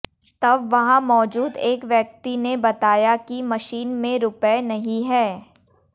तब वहां मौजूद एक व्यक्ति ने बताया कि मशीन में रुपए नहीं हैं